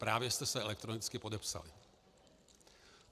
Právě jste se elektronicky podepsali.